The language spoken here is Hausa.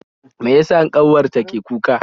Mai yasa kanwar ta ke kuka?